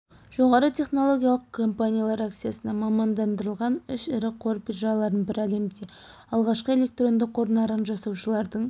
жоғары технологиялық компаниялар акциясына мамандандырлыған үш ірі қор биржаларының бірі әлемде алғашқы электронды қор нарығын жасаушылардың